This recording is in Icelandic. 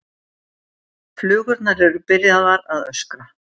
Flugurnar eru byrjaðar að öskra.